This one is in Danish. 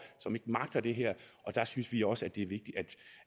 som ikke magter det her og der synes vi også